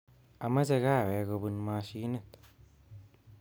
Amache kahawek kobun mashinit